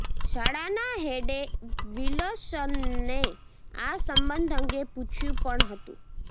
શાળાના હેડે વિલસનને આ સંબંધ અંગે પૂછ્યું પણ હતું